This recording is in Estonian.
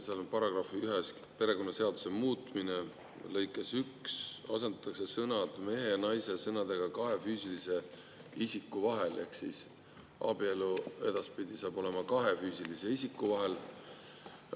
Seal § 1 "Perekonnaseaduse muutmine" lõikes 1 asendatakse sõnad "mehe ja naise" sõnadega "kahe füüsilise isiku" ehk abielu saab edaspidi olema kahe füüsilise isiku vahel.